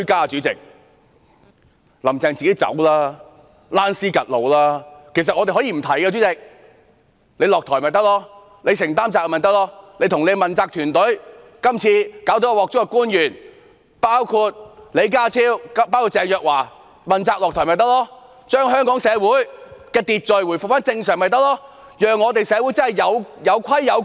主席，其實我們可以不提出彈劾，只要她下台便可，只要她承擔責任便可，只要其問責團隊及今次搞出大麻煩的官員包括李家超和鄭若驊問責下台便可，只要將香港的社會秩序回復正常便可，有規有矩。